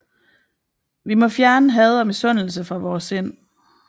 Vi må fjerne had og misundelse fra vore sind